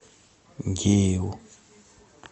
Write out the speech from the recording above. дееву